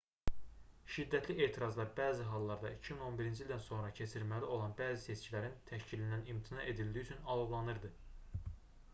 şiddətli etirazlar bəzi hallarda da 2011-ci ildən sonra keçirilməli olan bəzi seçkilərin təşkilindən imtina edildiyi üçün alovlanırdı